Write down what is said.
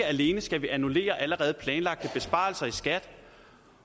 at vi skal annullere allerede planlagte besparelser i skat